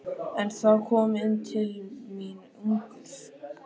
En þá kom inn til mín ungur